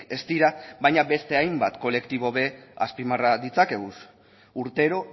ez dira baina beste hainbat kolektibo ere azpimarra ditzakegu urtero